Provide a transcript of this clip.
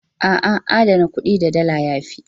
A'a, adana kuɗi da Dala ya fi.